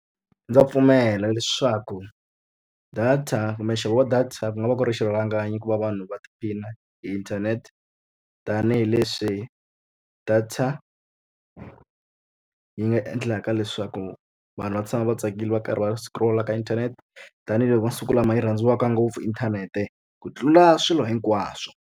Ndza pfumela leswaku data kumbe nxavo wa data ku nga va ku ri xirhalanganyi ku va vanhu va tiphina hi inthanete, tanihileswi data ri nga endlaka leswaku vanhu va tshama va tsakile va karhi va scroll-a ka inthanete. Tanihi loko masiku lama yi rhandziwaka ngopfu inthanete ku tlula swilo hinkwaswo.